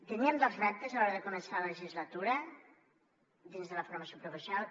teníem dos reptes a l’hora de començar la legislatura dins de la formació professional